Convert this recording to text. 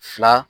Fila